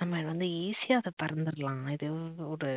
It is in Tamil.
நம்ம வந்து easy யா அத பறந்துடலாம் இது வந்து ஒரு